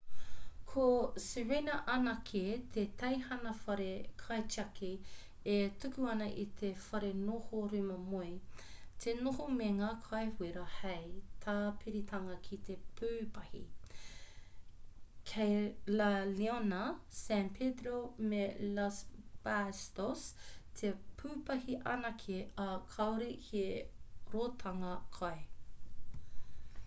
ko sirena anake te teihana whare kaitiaki e tuku ana i te wharenoho rūma moe te noho me ngā kai wera hei tāpiritanga ki te pūpahi kei la leona san pedrillo me los patos te pūpahi anake ā kāore he ratonga kai